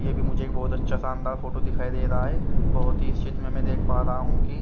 ये भी मुझे बहत अच्छा संदर फोटो दिखाई दे रहा है बहत ही ने में देख पा रहा हु की--